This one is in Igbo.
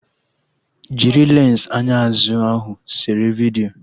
Jiri lensi anya azụ ahụ sere vidiyo!